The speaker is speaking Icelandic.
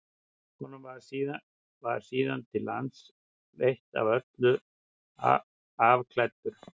honum var síðan til lands fleytt og að öllu afklæddur